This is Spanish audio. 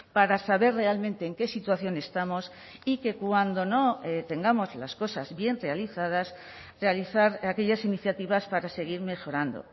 para saber realmente en qué situación estamos y que cuando no tengamos las cosas bien realizadas realizar aquellas iniciativas para seguir mejorando